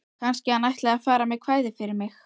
Kannski hann ætli að fara með kvæði fyrir mig.